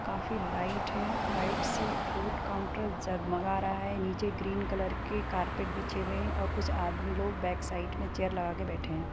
काफी लाइट है लाइट से फ़ूड काउंटर जगमगा रहा है निचे ग्रीन कलर की कारपेट बिछे हुए हैं और कुछ आदमी लोग बैक साइड में चेयर लगा के बैठे हैं।